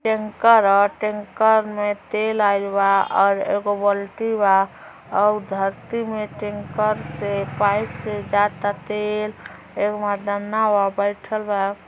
Tanker ह। Tanker में तेल आइल बा और और एगो बल्टी बा और धरती में टेंकर से पाइप से जाता तेल। एगो मर्दाना बा बइठल बा।